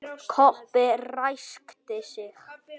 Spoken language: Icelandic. Kobbi ræskti sig.